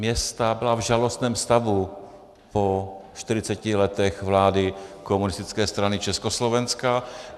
Města byla v žalostném stavu po 40 letech vlády Komunistické strany Československa.